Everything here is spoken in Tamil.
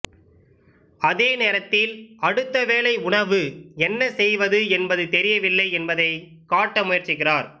அதே நேரத்தில் அடுத்த வேளை உணவு என்ன செய்வது என்பது தெரியவில்லை என்பதை காட்ட முயற்சிக்கிறார்